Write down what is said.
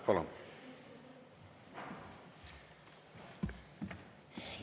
Palun!